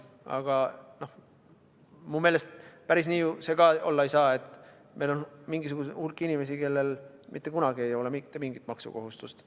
Aga minu meelest päris nii see olla ei saa, et meil on mingisugune hulk inimesi, kellel mitte kunagi ei ole mitte mingit maksukohustust.